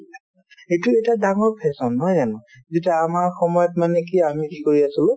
সেইটো এটা ডাঙৰ fashion নহয় জানো যেতিয়া আমাৰ সময়ত মানে কি আমি কি কৰি আছিলো